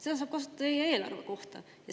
Seda saab kasutada teie eelarve kohta.